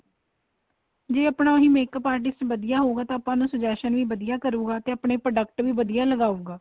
ਜ਼ੇ ਆਪਣਾ ਉਹੀ makeup artist ਵਧੀਆ ਹਉਗਾ ਤਾਂ ਆਪਾਂ ਨੂੰ suggestion ਵੀ ਵਧੀਆ ਕਰੂਗਾ ਤੇ ਆਪਣੇ product ਵੀ ਵਧੀਆ ਲਗਾਉਗਾ